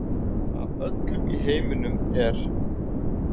Af öllum í heiminum er